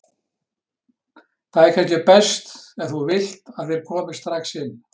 Það er kannski best, ef þú vilt, að þeir komi strax hingað.